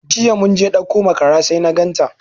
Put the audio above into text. Jiya mun je ɗauko makara sai na ganta.